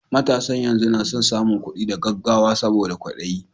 Matasan yanzu na son samun kuɗi da gaggawa saboda kwaɗayi